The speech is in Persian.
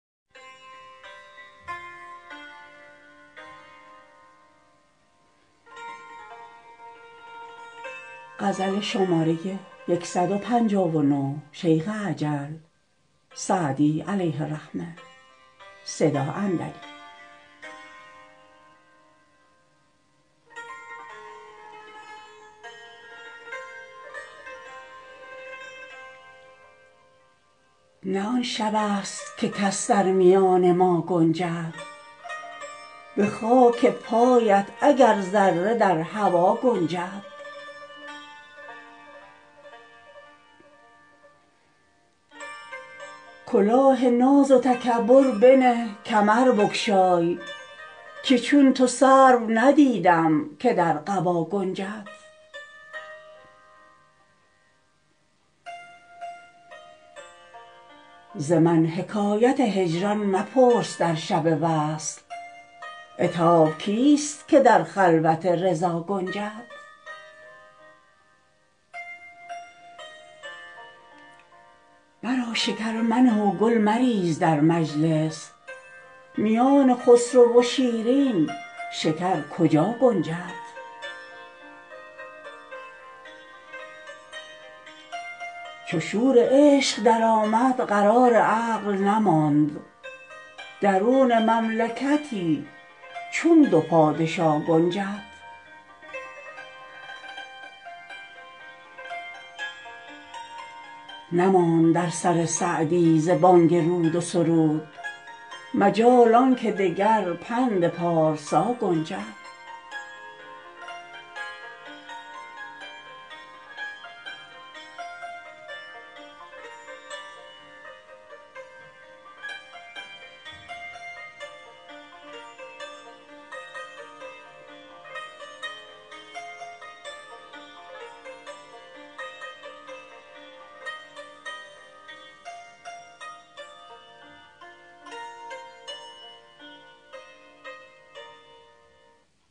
نه آن شبست که کس در میان ما گنجد به خاک پایت اگر ذره در هوا گنجد کلاه ناز و تکبر بنه کمر بگشای که چون تو سرو ندیدم که در قبا گنجد ز من حکایت هجران مپرس در شب وصل عتاب کیست که در خلوت رضا گنجد مرا شکر منه و گل مریز در مجلس میان خسرو و شیرین شکر کجا گنجد چو شور عشق درآمد قرار عقل نماند درون مملکتی چون دو پادشا گنجد نماند در سر سعدی ز بانگ رود و سرود مجال آن که دگر پند پارسا گنجد